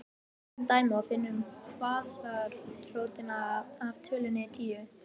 Tökum dæmi og finnum kvaðratrótina af tölunni tíu.